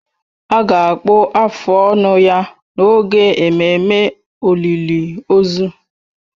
A ga-akpụ afụ ọnụ ya n'oge ememme olịlị ozu.